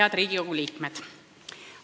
Head Riigikogu liikmed!